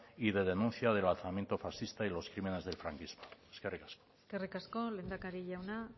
y de denuncia del alzamiento fascista y los crímenes del franquismo eskerrik asko eskerrik asko lehendakari jauna